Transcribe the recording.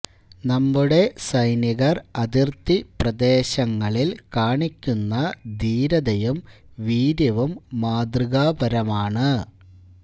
നമ്മുടെ സൈനികര് അതിര്ത്തി പ്രദേശങ്ങളില് കാണിക്കുന്ന ധീരതയും വീര്യവും മാതൃകാപരമാണ്